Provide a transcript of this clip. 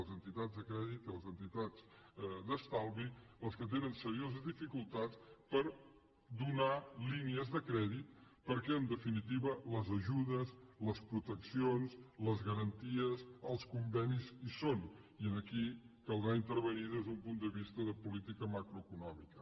les entitats de crèdit i les entitats d’estalvi les que tenen serioses dificultats per donar línies de crèdit perquè en definitiva les ajudes les proteccions les garanties i els convenis hi són i aquí caldrà intervenir hi des d’un punt de vista de política macroeconòmica